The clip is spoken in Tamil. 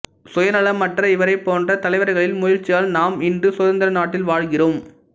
சுயநலமற்ற இவரைப் போன்ற தலைவர்களின் முயற்சியால் நாம் இன்று சுதந்திர நாட்டில் வாழ்கிறோம்